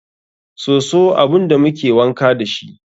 Soso abun da muke wanka dashi ne.